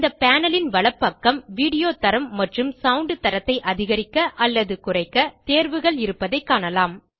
இந்த பேனல் ன் வலப்பக்கம் வீடியோ தரம் மற்றும் சவுண்ட் தரத்தை அதிகரிக்க அல்லது குறைக்க தேர்வுகள் இருப்பதைக் காணலாம்